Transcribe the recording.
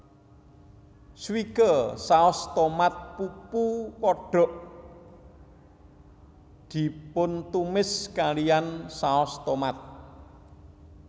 Swike saus tomat pupu kodok dipuntumis kalihan saos tomat